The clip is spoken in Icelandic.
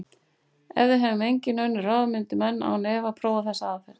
Ef við hefðum engin önnur ráð myndu menn án efa prófa þessa aðferð.